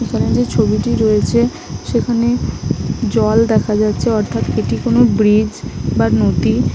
এখানে যেই ছবিটি রয়েছে সেইখানে জল দেখা যাচ্ছে অর্থাৎ এটি কোন ব্রিজ বা নদী ।